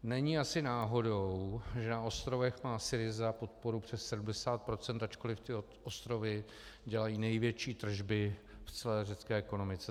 Není asi náhodou, že na ostrovech má SYRIZA podporu přes 70 %, ačkoliv ostrovy dělají největší tržby v celé řecké ekonomice.